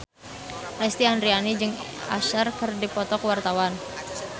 Lesti Andryani jeung Usher keur dipoto ku wartawan